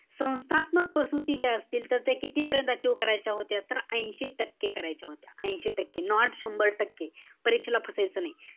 संस्थात्मक प्रसूती ज्या असतील तर त्या कितीपर्यंत achieve करायच्या होत्या. तर ऐशी टक्के करायच्या होत्या. ऐशी टक्के. Not शंभर टक्के. परीक्षेला फसायचं नाही.